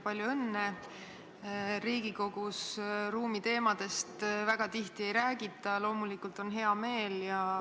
Palju õnne, Riigikogus ruumiteemadest väga tihti ei räägita, loomulikult on hea meel.